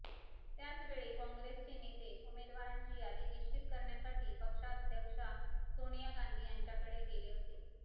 त्याचवेळी काँग्रेसचे नेते उमेदवारांची यादी निश्चित करण्यासाठी पक्षाध्यक्षा सोनिया गांधी यांच्याकडे गेले होते